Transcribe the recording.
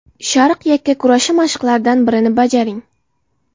Sharq yakkakurashi mashqlaridan birini bajaring.